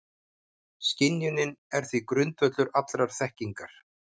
Skynjunin er því grundvöllur allrar þekkingar.